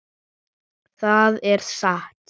Það er satt.